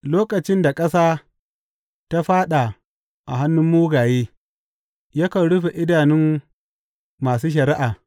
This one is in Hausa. Lokacin da ƙasa ta faɗa a hannun mugaye, yakan rufe idanun masu shari’a.